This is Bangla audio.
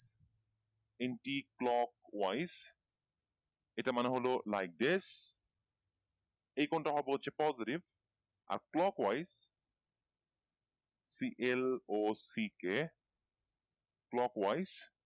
anti-clockwise এটার মানে হল like this এই কোনটা হবে হচ্ছে positive আর clockwise clock clockwise